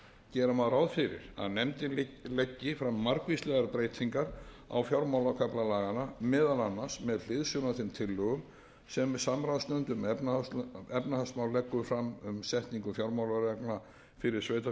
gera má ráð fyrir að nefndin leggi fram margvíslegar breytingar á fjármálakafla laganna meðal annars með hliðsjón af þeim tillögum sem samráðsnefnd um efnahagsmál leggur fram um setningu fjármálareglna fyrir sveitarfélögin og